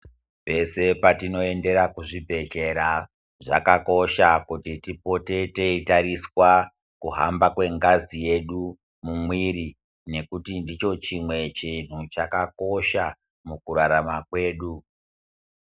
Pese petinoendera kuzvibhedhera zvakakosha kuti tipote teitariswa kuhamba kwengazi yedu mumwiri ngekuti ndicho chimwe chinhu chakakosha mukurarama kwedu.